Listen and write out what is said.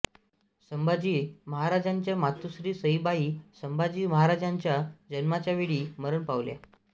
संभाजी महाराजांच्या मातोश्री सईबाई संभाजी महाराजांच्या जन्माच्यावेळी मरण पावल्या